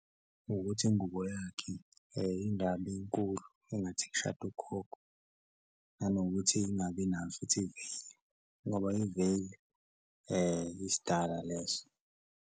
Ukuthi ingubo yakhe ingabi nkulu engathi kushada ugogo nanokuthi ingabi nayo futhi iveyili ngoba iveyili isidala leso.